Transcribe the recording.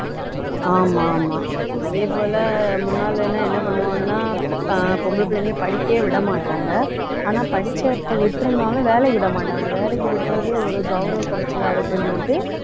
ஆமா ஆமா அதே போல முன்னாலே எல்லாம் என்ன பண்ணுவாங்கன்னா அஹ் பொம்பளை பிள்ளைங்களை படிக்கவே விட மாட்டாங்க ஆனா படிச்சதை விட்டுருந்தாலும் வேலைக்கு விட மாட்டாங்க வேலைக்கு விடறதே ஒரு கௌரவ குறைச்சலா இருக்குன்னு சொல்லிட்டு